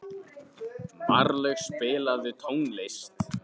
Marlaug, spilaðu tónlist.